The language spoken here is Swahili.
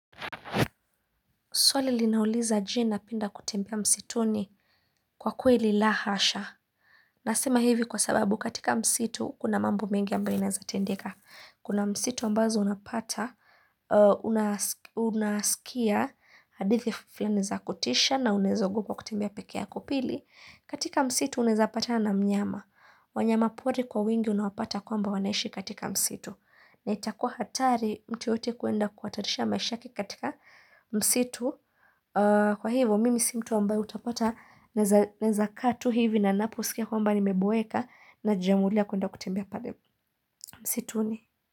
Swali linauliza je na penda kutembea msituni kwa kwe li la hasha. Nasema hivi kwa sababu katika msitu kuna mambo mengi ambayo inaeza tendeka. Kuna msitu ambazo unapata, unaskia hadithi fulani za kutisha na unaeza ogopa kutembea peke yako pili. Katika msitu unaezapatana na mnyama. Wanyama pori kwa wingi unaopata kwamba wanaishi katika msitu. Na itakuwa hatari mtu yoyote kuenda kuhatarisha maisha yake katika msitu. Kwa hivo mimi si mtu ambaye utapata naeza kaa tu hivi na naposikia kwamba ni meboeka na jiamulia kuenda kutembea pale msitu ni.